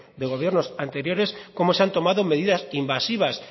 de gobiernos anteriores cómo se han tomado medidas invasivas